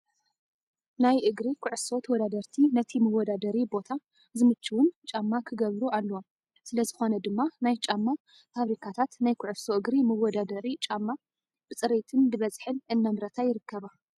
ናይ እግሪ ኩዕሶ ተወዳደርቲ ነቲ መወዳደሪ ቦታ ዝምችውን ጫማ ክገብሩ ኣለዎም። ስለዚኾነ ድማ ናይ ጫማ ፋብሪካታት ናይ ኩዕዶ እግሪ መወዳደሪ ጫማ ብፅሬትን ብበዝሒን እናምረታ ይርከባ።